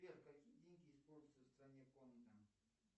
сбер какие деньги используются в стране конго